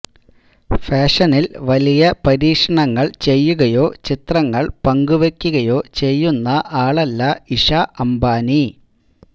ഫാഷനില് വലിയ പരീക്ഷണങ്ങള് ചെയ്യുകയോ ചിത്രങ്ങള് പങ്കുവയ്ക്കുകയോ ചെയ്യുന്ന ആളല്ല ഇഷ അംബാനി